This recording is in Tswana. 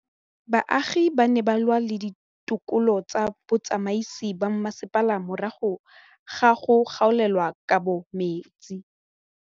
Baagi ba ne ba lwa le ditokolo tsa botsamaisi ba mmasepala morago ga go gaolelwa kabo metsi